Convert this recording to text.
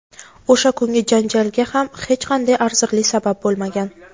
O‘sha kungi janjalga ham hech qanday arzirli sabab bo‘lmagan.